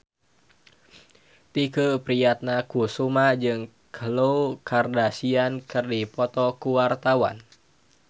Tike Priatnakusuma jeung Khloe Kardashian keur dipoto ku wartawan